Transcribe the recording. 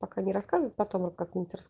только не рассказывай потом как нибудь